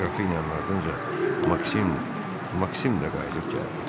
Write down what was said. Qrafinyanın ardınca Maksim Maksim də qayıdıb gəldi.